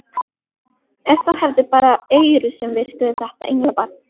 Ef það hefði bara eyru sem virkuðu þetta englabarn!